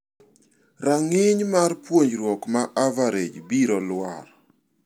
Rang'iny mar puonjruok ma average biro lwar.